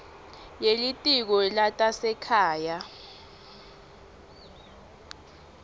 ye litiko letasekhaya